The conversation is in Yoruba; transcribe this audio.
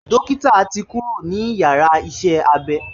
Dókítà ti kúrò ní yàrá iṣẹ́-abé